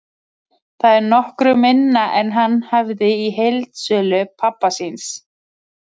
Það er nokkru minna en hann hafði í heildsölu pabba síns.